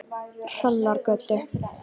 Hrannargötu